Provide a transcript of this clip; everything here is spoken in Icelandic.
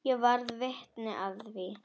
Ég varð vitni að því.